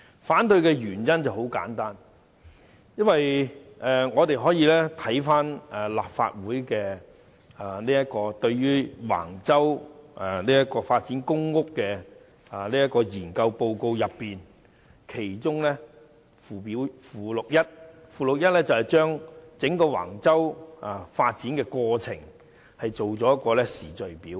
反對的原因非常簡單，我們可以翻查立法會就橫洲公共房屋發展計劃發表的研究報告，其中附錄一載有整個橫洲發展過程的時序表。